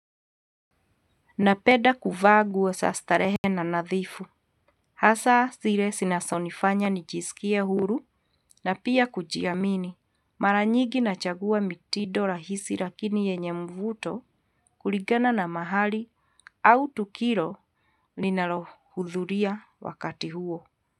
Napenda kuvaa nguo za starehe na nadhifu. Hasa zile zinazonifanya nijisikie huru na pia kujiamini. Mara nyigi nachagua mitindo rahisi lakini yenye mvuto kulingana na mahali au tukio linalo hudhuria wakati huo.